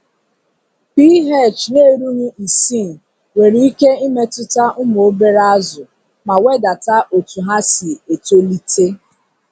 pH n'erughi isii nwere ike imetuta ụmụ obere azụ ma wedata otu ha si etolite.